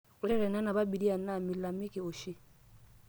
ore tenenap abiria naa milalamika oshi